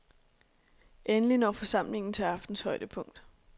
Endelig når forsamlingen til aftenens højdepunkt.